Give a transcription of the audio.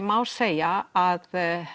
má segja að